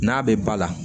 N'a bɛ ba la